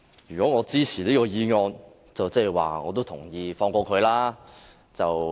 如果我支持這項議案，代表我也同意放過他。